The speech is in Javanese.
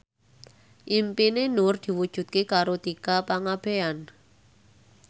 impine Nur diwujudke karo Tika Pangabean